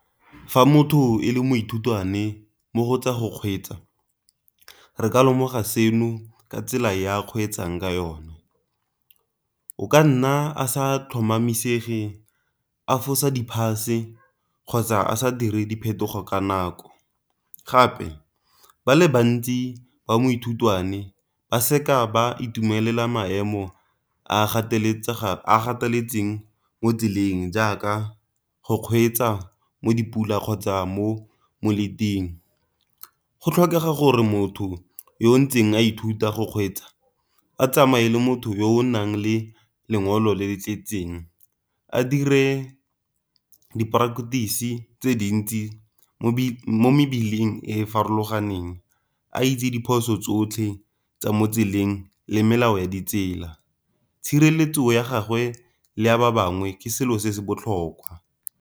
Fa motho e le moithutwane mo go tsa go kgweetsa, re ka lemoga seno ka tsela ya a kgweetsang ka yone. O ka nna a sa tlhomamisege a fosa di pass-e kgotsa a sa dire diphetogo ka nako. Gape ba le bantsi ba moithutwane ba seka ba itumelela maemo a gatetseng mo tseleng, jaaka go kgweetsa mo dipula kgotsa mo . Go tlhokega gore motho yo ntseng a ithuta go kgweetsa a tsamaye le motho yo o nang le lengolo le le tletseng, a dire di-practice tse dintsi mo mebileng e e farologaneng, a itse diphoso tsotlhe tsa mo tseleng le melao ya ditsela. Tshireletso ya gagwe le a ba bangwe ke selo se se botlhokwa.